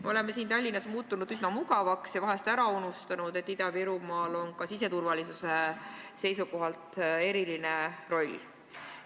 Me oleme siin Tallinnas muutunud üsna mugavaks ja vahest ära unustanud, et Ida-Virumaal on ka siseturvalisuse seisukohalt eriline tähtsus.